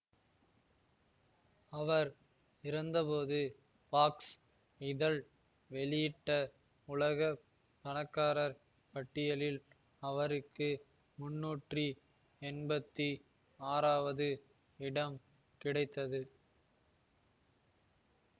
அவர் இறந்தபோது பாக்ஸ் இதழ் வெளியிட்ட உலக பணக்காரர் பட்டியலில் அவருக்கு முன்னுற்றி என்பத்தி ஆறாவது இடம் கிடைத்தது